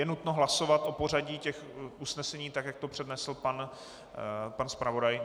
Je nutno hlasovat o pořadí těch usnesení tak, jak to přednesl pan zpravodaj?